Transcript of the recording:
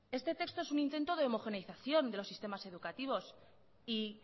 este texto es un intento de homogeneización de los sistemas educativos y